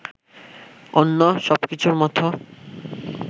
অন্য সবকিছুর মতো